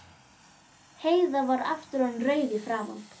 Heiða var aftur orðin rauð í framan.